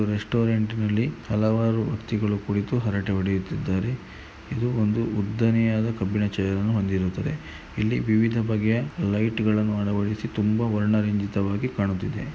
ರೆಸ್ಟೋರೆಂಟ್ನಲ್ಲಿ ಹಲವಾರು ವ್ಯಕ್ತಿಗಳೂ ಕುಳಿತು ಹರಟೆ ಹೊಡೆಯುತಿದ್ದಾರೆ ಇದು ಒಂದು ಉದ್ದನೆಯಾದ ಕಬ್ಬಿಣ ಚೇರನು ಹೊಂದಿರುತ್ತದೆ ಇಲ್ಲಿ ವಿವಿಧ ಬಗೆಯ ಲೈಟುಗಳನು ಅಳವಡಿಸಿ ತುಂಬಾ ವರ್ಣ ರಂಜಿತಾವಾಗಿ ಕಾಣುತ್ತಿದೆ.